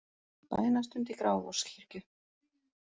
Bænastund í Grafarvogskirkju